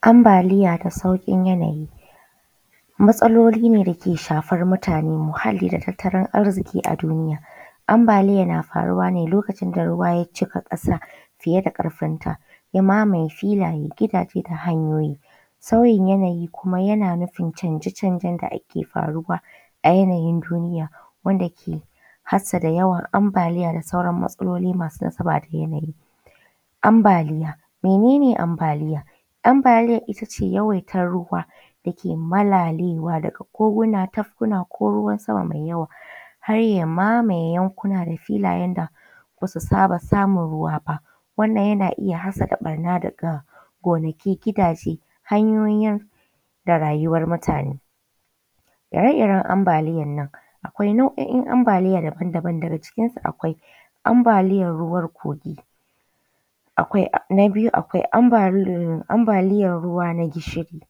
Ambaliya da sauƙin yanayi matsaloli ne da ke shafar mutane, muhalli da tattalin arziƙi a duniya. Ambaliya na faruwa ne lokacin da ruwa ya cika ƙasa fiye da ƙarfin ta ya mamaye filaye, gidaje da hanyoyi. Sauyin yanayi kuma yana nufin canje-canjen da ake faruwa a yanayin duniya wanda ke hassada yawan ambaliya da sauran matsaloli masu nasaba da yanayi. Ambaliya, mene ne ambaliya? Ambaliya ita ce yawaitar ruwa da ke malalewa daga koguna, tafkuna ko ruwan sama mai yawa har ya mamaye yankuna da filayen da basu saba samun ruwa ba wannan yana iya hassasa ɓarna daga gonaki, gidaje, hanyoyi da rayuwar mutane. Ire-iren ambaliyar nan akwai nau’o’in ambaliya daaban-daban daga cikin su akwai ambaliyar ruwan kogi, na biyu akwai amba ambaliyar ruwa na gishiri,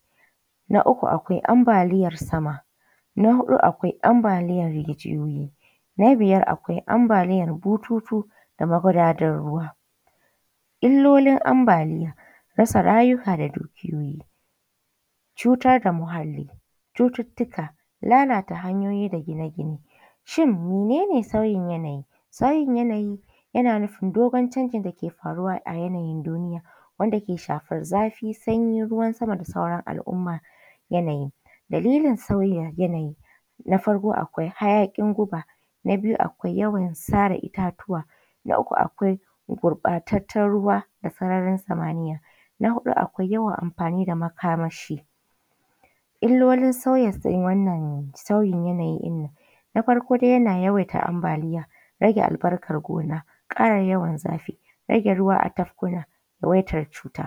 na uku akwai ambaliyar sama, na huɗu akwai ambaliyar rijiyoyi, na biyar akwai ambaliyar bututu da magudadar ruwa. Illolin ambaliya, rasa rayuka da dukiyoyi, cutar da muhalli, cututtuka, lalata hanyoyi da gine-gine. Shin menene sauyin yanayi? Sauyin yanayi yana nufin dogon canjin da ke faruwa a yanayin duniya wanda ke shafar zafi, sanyi, ruwan sama da sauran al’umma yanayi. Dalilin sauyin yanayi na farko akwai hayaƙin guba, na biyu yawan sare itatuwa, na uku akwai gurɓatattan ruwa da sararin samaniya, na huɗu akwai yawan amfani da makamashi. Illolin sauyin yanayi ɗin nan, na farko dai yana yawaita ambaliya, rage allbarkar gona, ƙara yawan zafi, rage ruwa a tafkuna, yawaitar cuta.